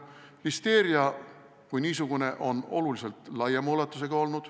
Listeeria kui niisugune on oluliselt laiema ulatusega.